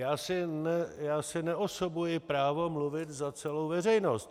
Já si neosobuji právo mluvit za celou veřejnost.